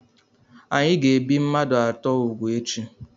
Anyị ga-ebi mmadụ atọ úgwù echi.